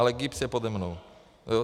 Ale GIBS je pode mnou.